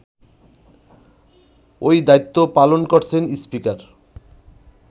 ওই দায়িত্ব পালন করছেন স্পিকার